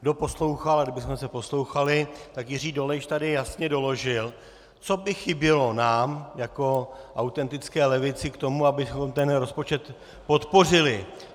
Kdo poslouchal, a kdybychom se poslouchali, tak Jiří Dolejš tady jasně doložil, co by chybělo nám jako autentické levici k tomu, abychom ten rozpočet podpořili.